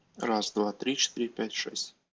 один два три четыре пять шесть